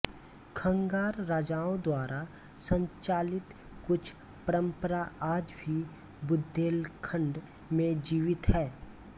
खंगार राजाओं द्वारा संचालित कुछ परम्परा आज भी बुदेलखंड में जीवित है